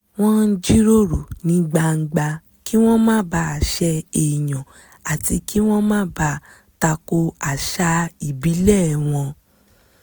wọ́n jíròrò ní gbangba kí wọ́n má bàa ṣẹ èèyàn àti kí wọ́n má tako àṣà ìbílẹ̀ wọn